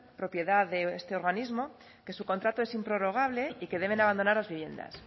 propiedad de este organismo que su contrato es improrrogable y que deben abandonar las viviendas